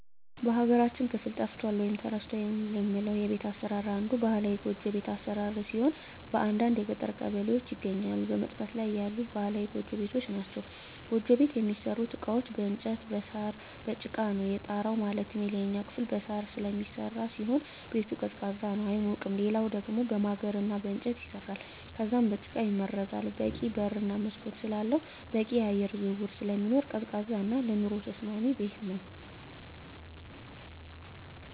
በሀገራችን ክፍል ጠፍቷል ወይም ተረስቷል የምለው የቤት አሰራር አንዱ ባህላዊ ጎጆ ቤት አሰራር ሲሆን በአንዳንድ የገጠር ቀበሌዎች ይገኛሉ በመጥፋት ላይ ያሉ ባህላዊ ጎጆ ቤቶች ናቸዉ። ጎጆ ቤት የሚሠሩበት እቃዎች በእንጨት እና በሳር፣ በጭቃ ነው። የጣራው ማለትም የላይኛው ክፍል በሳር ስለሚሰራ ሲሆን ቤቱ ቀዝቃዛ ነው አይሞቅም ሌላኛው ደሞ በማገር እና በእንጨት ይሰራል ከዛም በጭቃ ይመረጋል በቂ በር እና መስኮት ስላለው በቂ የአየር ዝውውር ስለሚኖር ቀዝቃዛ እና ለኑሮ ተስማሚ ቤት ነው።